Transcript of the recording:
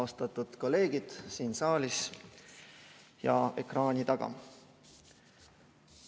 Austatud kolleegid siin saalis ja ekraani taga!